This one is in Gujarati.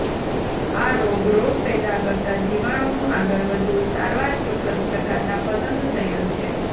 આ રોગ રોગ પેદા કરતા જીવાણુનું આગળ વધવું સારવાર ચોક્કસ પ્રકારના પસંદ થયેલ છે